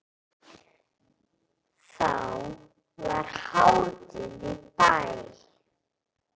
Þá var hátíð í bæ.